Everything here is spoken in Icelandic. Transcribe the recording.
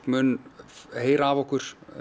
mun heyra af okkur